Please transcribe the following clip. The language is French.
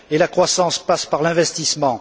Et la croissance passe par l'investissement.